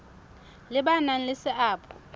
le ba nang le seabo